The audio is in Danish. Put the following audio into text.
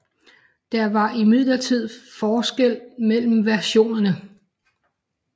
Der var imidlertid forskelle mellem versionerne